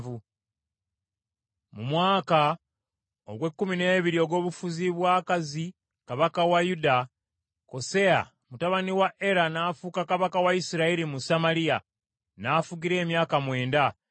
Mu mwaka ogw’ekkumi n’ebiri ogw’obufuzi bwa Akazi kabaka wa Yuda, Koseya mutabani wa Era n’afuuka kabaka wa Isirayiri mu Samaliya, n’afugira emyaka mwenda.